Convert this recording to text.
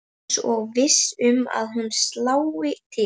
Eins og viss um að hún slái til.